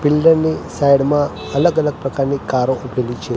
Pillar ની side માં અલગ અલગ પ્રકારની કારો ઉભેલી છે.